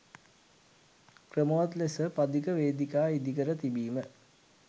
ක්‍රමවත් ලෙස පදික වේදිකා ඉදිකර තිබීම